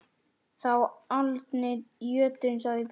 Þú aldni jötunn, sagði Björn.